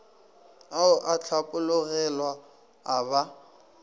ao a hlapologelwa a ba